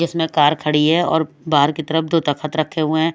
इसमें कार खड़ी है और बाहर की तरफ दो तख्त रखे हुए हैं।